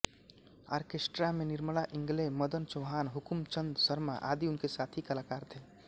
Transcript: orchestra में निर्मला इंगले मदन चौहान हुकुमचंद शर्मा आदि उनके साथी कलाकार थे